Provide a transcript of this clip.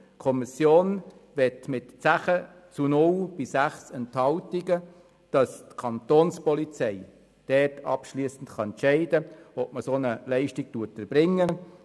Die Kommission will mit 10 zu 0 Stimmen bei 6 Enthaltungen, dass die Kapo abschliessend entscheiden kann, ob eine solche Leistung erbracht werden soll.